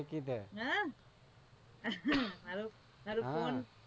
નાખી દે.